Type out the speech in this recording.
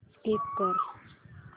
skip कर